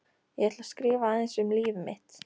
Ég ætla að skrifa aðeins um líf mitt.